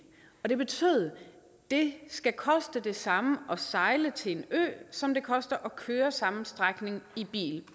og det betyder at det skal koste det samme at sejle til en ø som det koster at køre samme strækning i bil